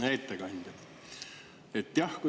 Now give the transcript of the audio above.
Hea ettekandja!